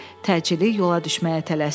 Təcili yola düşməyə tələsdi.